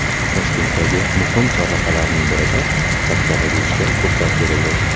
Toshkentdagi muhim chorrahalarning birida chapga burilishga ruxsat berildi.